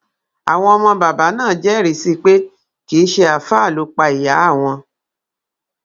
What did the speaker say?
àwọn ọmọ bàbá náà jẹrìí sí i pé kì í ṣe àáfàá ló pa ìyá àwọn